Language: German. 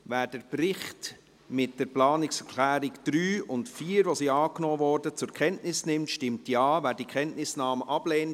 Wer den Bericht mit den Planungserklärungen 3 und 4, die angenommen wurden, zur Kenntnis nimmt, stimmt Ja, wer die Kenntnisnahme ablehnt, stimmt Nein.